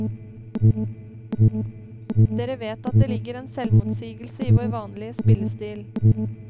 Dere vet at det ligger en selvmotsigelse i vår vanlige spillestil.